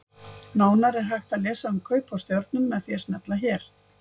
Nánar er hægt að lesa um kaup á stjörnum með því að smella hér.